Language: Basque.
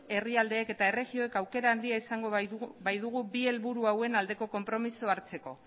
herrialdeek eta erregioek aukera handia izango baitugu bi helburu hauen aldeko konpromisoa hartzeko